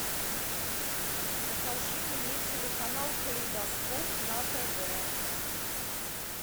покажи мне телеканал калейдоскоп на тв